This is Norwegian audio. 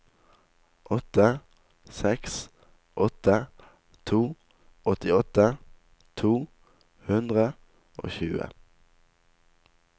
åtte seks åtte to åttiåtte to hundre og tjue